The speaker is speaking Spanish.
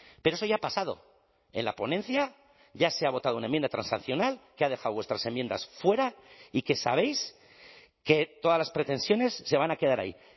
pero eso ya ha pasado en la ponencia ya se ha votado una enmienda transaccional que ha dejado vuestras enmiendas fuera y que sabéis que todas las pretensiones se van a quedar ahí